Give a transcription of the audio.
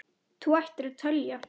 Þú ættir að telja það.